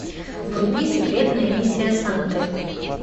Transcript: вруби секретная миссия санты